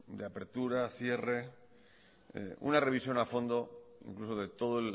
de apertura cierre una revisión a fondo incluso de todo